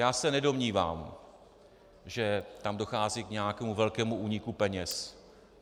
Já se nedomnívám, že tam dochází k nějakému velkému úniku peněz.